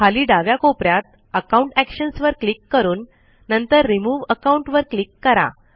खाली डाव्या कोपऱ्यात अकाउंट एक्शन्स वर क्लिक करून नंतर रिमूव्ह अकाउंट वर क्लिक करा